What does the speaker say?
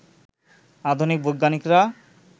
আধুনিক বৈজ্ঞানিকরা